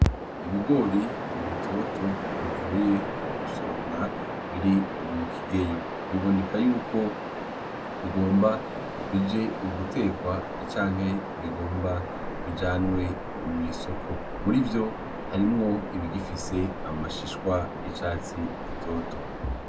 Ibigoro bitoto bivuye gusoromwa biri mukigeyo biboneka yuko bigomba bije gutekwa canke bigomba bijanwe mw'isoko, murivo harimwo ibigifise amashishwa y'icatsi gitoto.